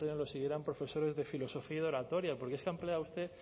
pleno lo siguieran profesores de filosofía y de oratoria porque es que ha empleado usted